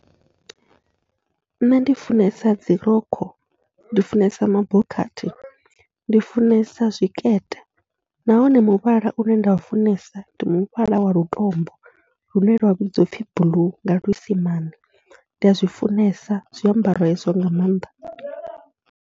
Nṋe ndi funesa dzirokho, ndi funesa mabokhathi, ndi funesa zwikete nahone muvhala une nda u funesa ndi muvhala wa lutombo, lune lwa vhudziwa upfhi blue nga luisimane ndi azwi funesa zwiambaro hezwo nga maanḓa.